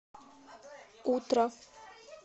утро